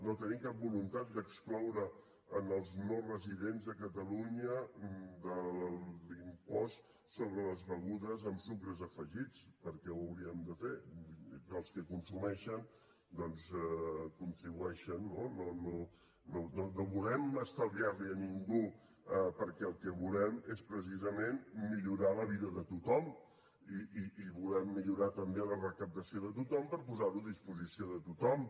no tenim cap voluntat d’excloure els no residents a catalunya de l’impost sobre les begudes amb sucres afegits per què ho hauríem de fer els que consumeixen doncs contribueixen no no volem estalviar lo a ningú perquè el que volem és precisament millorar la vida de tothom i volem millorar també la recaptació de tothom per posar ho a disposició de tothom